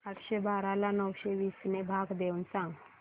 आठशे बारा ला नऊशे वीस ने भाग देऊन सांग